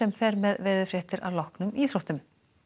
fer með veðurfréttir að loknum íþróttum